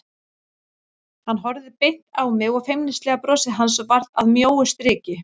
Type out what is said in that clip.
Hann horfði beint á mig og feimnislega brosið hans varð að mjóu striki.